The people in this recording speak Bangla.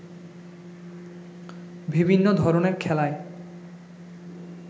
বিভিন্ন ধরণের খেলায়